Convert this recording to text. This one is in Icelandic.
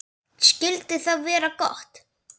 Skyldi það vera gott?